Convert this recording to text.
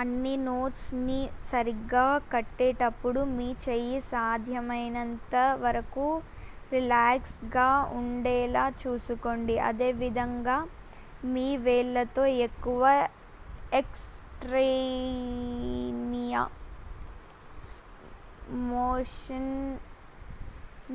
అన్ని నోట్స్ ని సరిగ్గా కొట్టేటప్పుడు మీ చేయి సాధ్యమైనంత వరకు రిలాక్స్ గా ఉండేలా చూసుకోండి అదేవిధంగా మీ వేళ్లతో ఎక్కువ ఎక్స్ ట్రానియస్ మోషన్